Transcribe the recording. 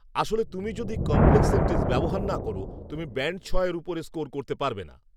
আসলে তুমি যদি কমপ্লেক্স সেনটেন্স ব্যবহার না কর, তুমি ব্যান্ড ছয়ের উপরে স্কোর করতে পারবে না